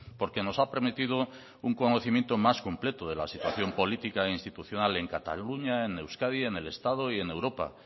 porque nos ha permitido un conocimiento más completo de la situación política e institucional en cataluña en euskadi en el estado y en europa